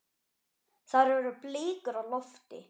Þar eru blikur á lofti.